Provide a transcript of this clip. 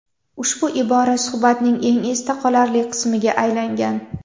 Ushbu ibora suhbatning eng esda qolarli qismiga aylangan.